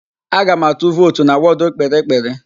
Aga m atụ vootu na wọdụ Kpiri-kpiri.